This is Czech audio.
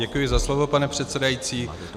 Děkuji za slovo, pane předsedající.